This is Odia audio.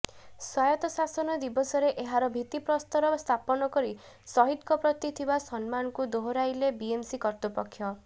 ସ୍ୱାୟତ୍ତ ଶାସନ ଦିବସରେ ଏହାର ଭିତ୍ତିପ୍ରସ୍ତର ସ୍ଥାପନ କରି ସହିଦଙ୍କ ପ୍ରତି ଥିବା ସମ୍ମାନକୁ ଦୋହରାଇଲେ ବିଏମ୍ସି କର୍ତୃପକ୍ଷ